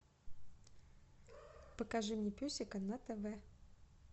покажи мне песика на тв